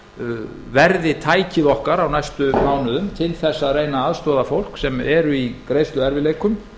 íbúðalánasjóður verði tækið okkar á næstu mánuðum til þess að reyna að aðstoða fólk sem er í greiðsluerfiðleikum